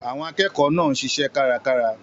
Àwọn akẹ́kọ̀ọ́ náà ń ṣiṣẹ́ kárakára.